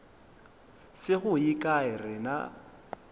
se go ye kae rena